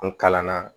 N kalanna